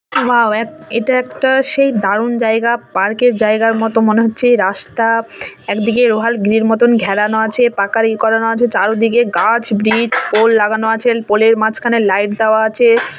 Wow এক একটা সেই দারুন যায়গা পার্ক এর যায়গার মত মনে হচ্ছে এই রাস্তা এক দিকে লোহার গ্রিল এর মতন ঘেরানো আছে পাকার এ আছে চারো দিকে গাছ ব্রিজ পোল লাগানো আছে পোল এর মাঝখানে লাইট দাওয়া আছে।